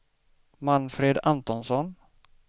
Manfred Antonsson